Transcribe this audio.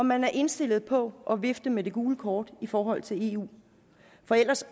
man indstillet på at vifte med det gule kort i forhold til eu for ellers